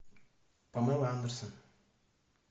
памела андерсон